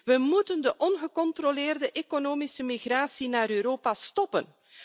We moeten de ongecontroleerde economische migratie naar Europa stoppen.